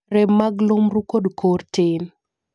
rem mag lumru kod kor tin